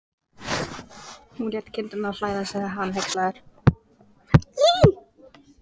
Hún lét kindurnar flæða, sagði hann hneykslaður.